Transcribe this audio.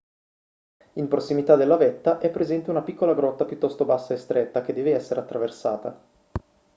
in prossimità della vetta è presente una piccola grotta piuttosto bassa e stretta che deve essere attraversata